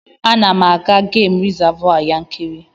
Ana m aga Gem Rizavụ Yankari.